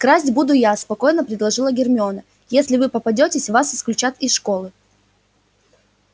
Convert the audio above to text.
красть буду я спокойно предложила гермиона если вы попадётесь вас исключат из школы